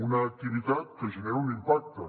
una activitat que genera un impacte